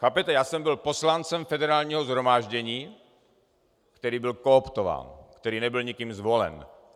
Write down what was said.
Chápete, já jsem byl poslancem Federálního shromáždění, který byl kooptován, který nebyl nikým zvolen.